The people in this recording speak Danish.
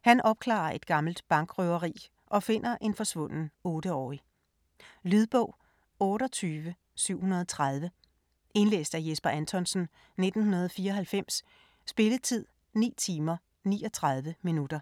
Han opklarer et gammelt bankrøveri og finder en forsvunden 8-årig. Lydbog 28730 Indlæst af Jesper Anthonsen, 1994. Spilletid: 9 timer, 39 minutter.